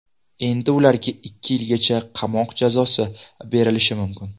Endi ularga ikki yilgacha qamoq jazosi berilishi mumkin.